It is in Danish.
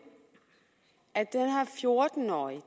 her fjorten årige